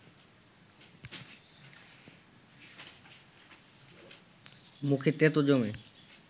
মুখে তেঁতো জমে